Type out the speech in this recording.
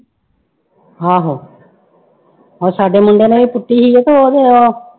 ਆਹੋ ਉਹ ਸਾਡੇ ਮੁੰਡੇ ਨੇ ਵੀ ਪੁੱਟੀ ਸੀ ਤੇ ਉਹਦੇ ਉਹ